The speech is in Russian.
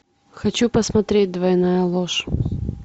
хочу посмотреть двойная ложь